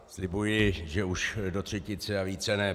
Slibuji, že už do třetice a více ne.